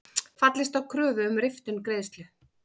Fallist á kröfu um riftun greiðslu